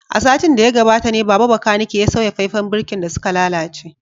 A satin da ya gabata ne Baba bakanike ya sauya faifan birkin da suka lalace